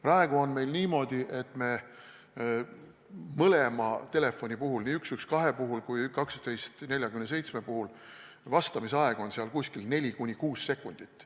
Praegu on meil niimoodi, et mõlema telefoni puhul, nii 112 kui ka 1247 puhul, on vastamise aeg umbes 4–6 sekundit.